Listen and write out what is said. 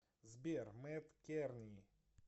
сбер мэт керни